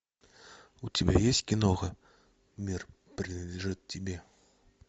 у тебя есть киноха мир принадлежит тебе